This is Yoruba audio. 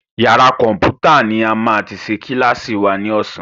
Yàrá kọ̀mpútà ní a máa ti ṣe kílàsì wa ní ọ̀sán.